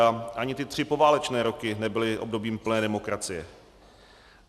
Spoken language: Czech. A ani ty tři poválečné roky nebyly obdobím plné demokracie.